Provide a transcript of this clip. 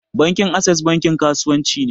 Bankin access bankin kasuwanci ne.